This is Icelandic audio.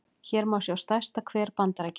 hér má sjá stærsta hver bandaríkjanna